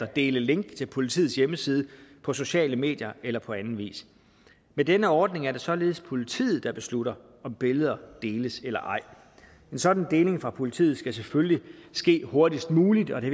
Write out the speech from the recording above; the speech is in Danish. dele link til politiets hjemmeside på sociale medier eller på anden vis med denne ordning er det således politiet der beslutter om billeder deles eller ej en sådan deling fra politiet skal selvfølgelig ske hurtigst muligt og det